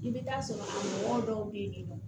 I bɛ taa sɔrɔ mɔgɔw dɔw bɛ yen nɔ